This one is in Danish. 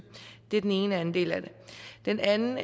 det er den ene del af det den anden